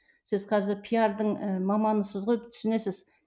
сіз қазір пиардың ыыы маманысыз ғой түсінесіз